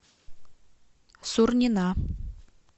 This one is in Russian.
сурнина